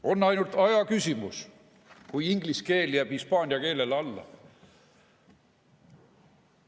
On ainult aja küsimus, kui inglise keel jääb hispaania keelele alla.